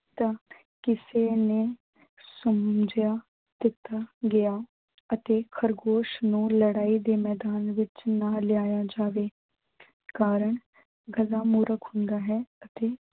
ਤਾਂ ਕਿਸੇ ਨੇ ਸਮਝਿਆ ਕੁੱਤਾ ਗਿਆ ਅਤੇ ਖ਼ਰਗੋਸ਼ ਨੂੰ ਲੜਾਈ ਦੇ ਮੈਦਾਨ ਵਿੱਚ ਨਾ ਲਿਆਇਆ ਜਾਵੇ ਕਾਰਨ ਗਧਾ ਮੂਰਖ ਹੁੰਦਾ ਹੈ ਅਤੇ